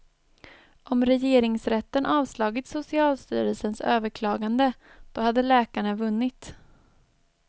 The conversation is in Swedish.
Om regeringsrätten avslagit socialstyrelsens överklagade, då hade läkarna vunnit.